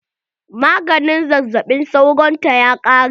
Maganin zazzaɓin sauron ta ya ƙare.